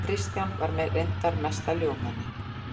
Kristján var reyndar mesta ljúfmenni.